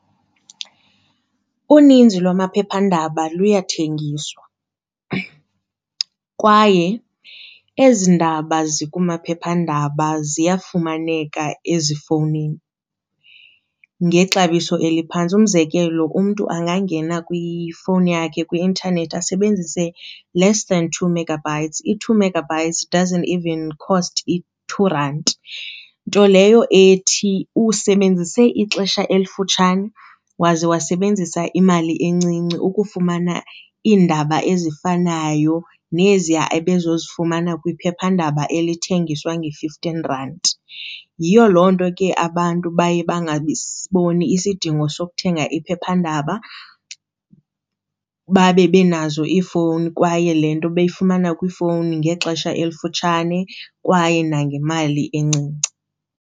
Uninzi lwamaphephandaba luyathengiswa kwaye ezi ndaba zikumaphephandaba ziyafumaneka ezifowunini ngexabiso eliphantsi. Umzekelo umntu angangena kwifowuni yakhe kwi-intanethi asebenzise less than two megabytes. I-two megabytes doesnt even cost i-two rand, nto leyo ethi usebenzise ixesha elifutshane waze wasebenzisa imali encinci ukufumana iindaba ezifanayo neziya ebezozifumana kwiphephandaba elithengiswa nge-fifteen rand. Yiyo loo nto ke abantu baye bangabasiboni isidingo sokuthenga iphephandaba babe benazo iifowuni kwaye le nto beyifumana kwiifowuni ngexesha elifutshane, kwaye nangemali encinci.